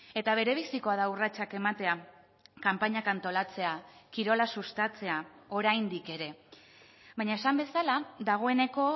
eta berebizikoa da urratsak ematea kanpainak antolatzea kirola sustatzea oraindik ere baina esan bezala dagoeneko